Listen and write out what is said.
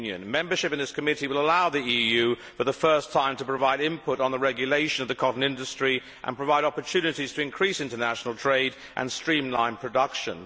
Membership of this committee would allow the EU for the first time to provide input on the regulation of the cotton industry and provide opportunities to increase international trade and streamline production.